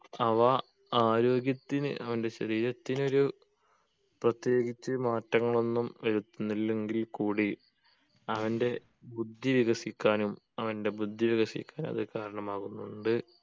അവ ആരോഗ്യത്തിന് വേണ്ടി ശരീരത്തിന് ഒരു പ്രത്യേകിച്ച് മാറ്റങ്ങളൊന്നും വരുത്തുന്നില്ലെങ്കിൽ കൂടി അവൻ്റെ ബുദ്ധി വികസിക്കാനും അവൻ്റെ ബുദ്ധി വികസിക്കാനും അത് കാരണമാകുന്നുണ്ട്